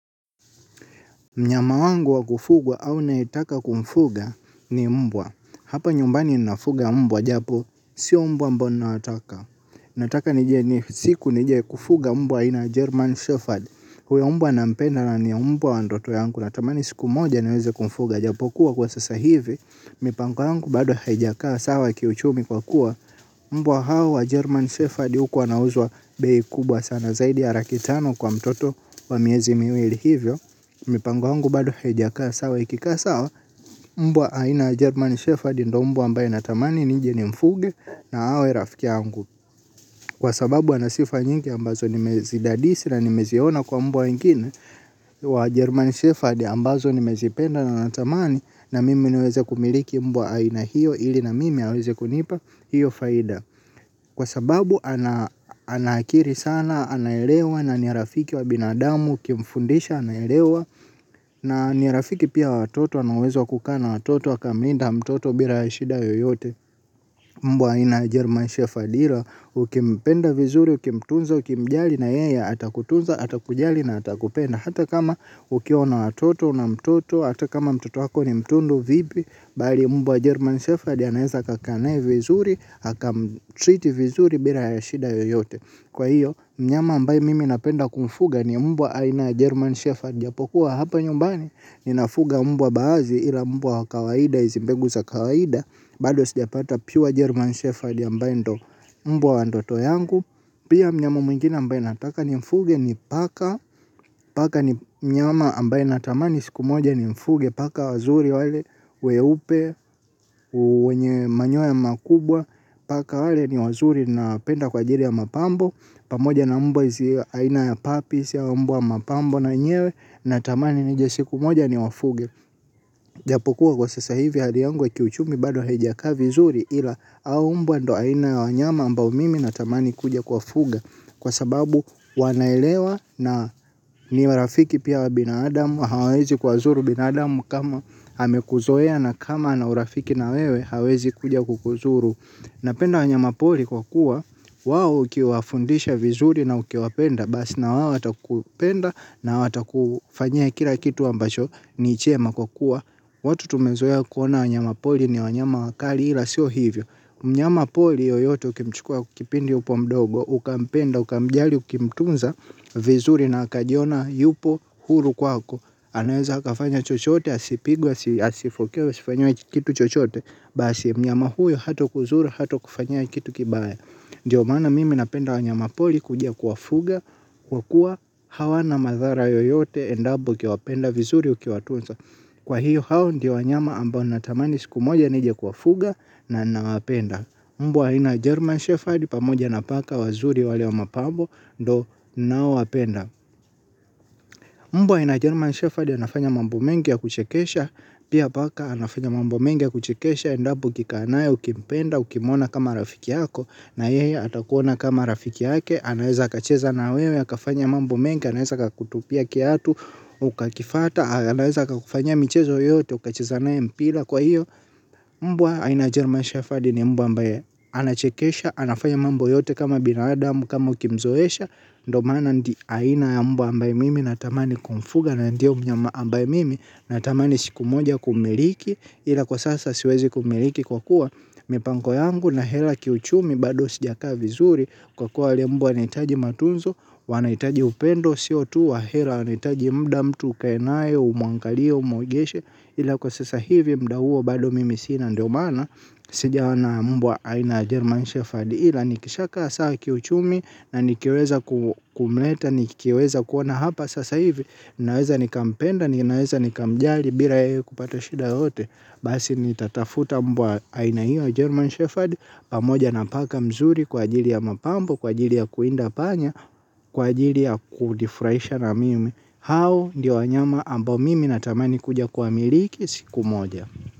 Mnyama wangu wa kufugwa au naetaka kumfuga ni mbwa. Hapa nyumbani ninafuga mbwa japo sio mbwa mbono nataka nataka nije ni siku nije kufuga mbwa ina German Sefford. Huyo mbwa na mpenda na ni mbwa wa ndoto yangu. Natamani siku moja naweze kumfuga japo kuwa kwa sasa hivi. Mipango yangu bado haijakaa sawa kiuchumi kwa kuwa mbwa hawa German Sefford huku wanauzwa beyi kubwa sana. Zaidi ya laki tano kwa mtoto wa miezi miweli hivyo. Mipango yangu bado haijakaa sawa ikika sawa. Mbwa aina German Shepherd ndio mbwa ambaye natamani nijini mfuge na awe rafiki angu. Kwa sababu ana sifa nyingi ambazo nimezidadisi na nimeziona kwa mbwa wengine. Wa German Shepherd ambazo nimezipenda na tamani. Na mimi niweze kumiliki mbwa aina hiyo ili na mimi aweze kunipa hiyo faida. Kwa sababu ana akili sana anayerewa na ni rafiki wa binadamu kimfundisha anayerewa. Na nirafiki pia watoto anawezo kukana watoto akamlinda mtoto bila ashida yoyote mbwa aina German Shepherd hila ukipenda vizuri, ukimtunza, ukimjali na yeya atakutunza, atakujali na atakupenda. Hata kama ukiona watoto na mtoto, hata kama mtoto hako ni mtundu vipi. Bali mbwa aina German Shepherd hila naeza akakaa naye vizuri, haka mtriti vizuri bila ya shida yoyote. Kwa hiyo, mnyama ambaye mimi napenda kumfuga ni mbwa aina German Shepherd. Japokuwa hapa nyumbani, ninafuga mbwa baadhi ila mbwa kawaida, izi mbegu za kawaida. Bado sijapata pure German Shepherd ya mbwa ndoto yangu. Pia mnyama mwngine ambaye nataka nimfuge ni paka. Paka ni mnyama ambaye natamani siku moja ni mfuge. Paka wazuri wale, weupe, wenye manyoya makubwa. Paka wale ni wazuri napenda kwa jiri ya mapambo pamoja na mbwa zi aina ya papi zi umbwa mapambo na nyewe na tamani nije siku moja ni wafuge. Japokuwa kwa sasa hivi hadi yangu wa kiuchumi bado haijaka vizuri ila hao umbwa ndo aina ya wanyama ambao mimi na tamani kuja kwa fuga. Kwa sababu wanaelewa na ni warafiki pia wa binadamu hawezi kwadhuru binadamu kama amekuzoea na kama na urafiki na wewe hawezi kuja kukuzuru. Napenda wanyama pori kwa kuwa wao ukiwafundisha vizuri na ukiwapenda basi na watakupenda na watakufanyia kila kitu ambacho ni chema kwa kuwa watu tumezo ya kuona wanyama poli ni wanyama wakali ila siyo hivyo. Mnyama poli yoyote ukimchukua kipindi upo mdogo uka mpenda uka mjali ukimtunza vizuri na akajiona yupo huru kwako. Anaweza akafanya chochote, asipigwe, asifukia, asifanyiwe kitu chochote. Basi mnyama huyo hato kuzura, hato kufanya kitu kibaya. Ndiyo mana mimi napenda wanyama poli kujia kuwafuga. Kwa kuwa hawana madhara yoyote endapo ukiwapenda vizuri ukiwatunza kwa hiyo hao ndi wanyama ambao natamani siku moja nije kuwafuga na na wapenda. Mbwa ina German Shepherd pamoja napaka wazuri wale wa mapambo do na wapenda. Mmbwa aina German Sheffard yanafanya mambu mengi ya kuchekesha, pia baka anafanya mambo mengi ya kuchekesha, endapo kikanae, ukimpenda, ukimona kama rafiki yako, na yeye atakuona kama rafiki yake, anaweza kacheza na wewe, akafanya mambo mengi, anaweza kakutupia kiatu, ukakifata, anaweza kakufanya michezo yote, ukachezanae mpila, kwa hiyo, mbwa iaina ya German Sheffard ni mbwa ambaye anachekesha, anafanya mambu yote kama binaradamu, kama ukimzoesha, ndo maana ndi aina ya mbu ambaye mimi na tamani kumfuga na ndio mnyama ambaye mimi na tamani siku moja kumiliki ila kwa sasa siwezi kumiliki kwa kuwa mipango yangu na hela kiuchumi bado sijakaa vizuri kwa kuwa yale mbwa wanaitaji matunzo wanaitaji upendo CO2 wa hela wanaitaji mda mtu kainaye umuangalia umuigeshe ila kwa sasa hivi mdawuo bado mimi sina ndo maana sijaona mbwa Aina German Sheffield. Hila nikishaka saa kiuchumi. Na nikiweza kumleta nikiweza kuona hapa sasa hivi. Ninaweza nikampenda. Ninaweza nikamjali bila ye kupata shida yote. Basi nitatafuta mbwa Aina Iwa German Sheffield Pamoja na paka mzuri kwa ajili ya mapambo kwa ajili ya kuinda panya kwa ajili ya kunifraisha na mimi. Hao ndio wanyama ambao mimi natamani kuja kuwamiliki siku moja.